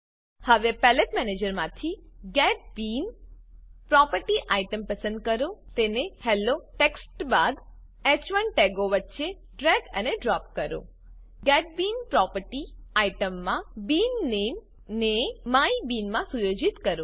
હવે પેલેટ મેનેજરમાંથી get bean property item પસંદ કરો તેને હેલ્લો ટેક્સ્ટ બાદ હ1 ટેગો વચ્ચે ડ્રેગ અને ડ્રોપ કરો ગેટ બીન પ્રોપર્ટી આઈટમમાં બીન નામે ને માયબીન માં સુયોજિત કરો